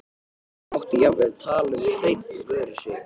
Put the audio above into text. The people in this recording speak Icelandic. Mátti jafnvel tala um hrein vörusvik.